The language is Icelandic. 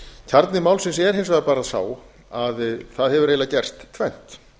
kjarni málsins er hins vegar bara sá að það hefur eiginlega gerst tvennt